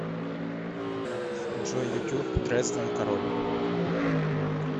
джой ютуб дрезден король